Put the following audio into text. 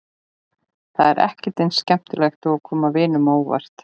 Það er ekkert eins skemmtilegt eins og að koma vinunum á óvart.